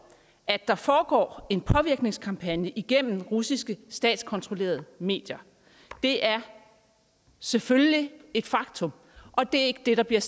at der foregår en påvirkningskampagne gennem russiske statskontrollerede medier det er selvfølgelig et faktum og det er ikke det der bliver